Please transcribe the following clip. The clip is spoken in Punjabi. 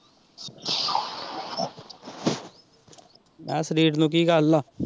ਹੈਅ ਸਰੀਰ ਨੂੰ ਕੀ ਗੱਲ ਆ।